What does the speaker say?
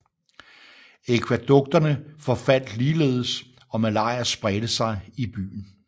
Akvædukterne forfaldt ligeledes og malaria spredte sig i byen